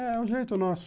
É o jeito nosso.